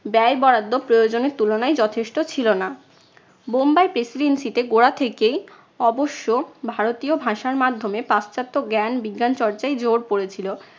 ব্যয় বরাদ্দ প্রয়োজনের তুলনায় যথেষ্ট ছিলনা। বোম্বাই presidency তে গোড়া থেকেই অবশ্য ভারতীয় ভাষার মাধ্যমে পাশ্চাত্য জ্ঞান বিজ্ঞান চর্চায় জোর পরেছিল।